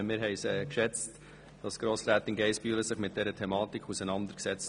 Wir haben es geschätzt, hat sich Grossrätin Geissbühler mit dieser Thematik auseinandergesetzt.